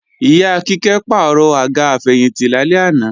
Ìyá Kíkẹ́ pàrọ̀ àga àfẹ̀yìntì lálẹ́ àná